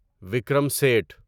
Vikram Seth